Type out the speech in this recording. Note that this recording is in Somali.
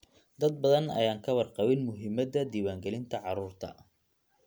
Dad badan ayaan ka warqabin muhiimadda diiwaangelinta carruurta.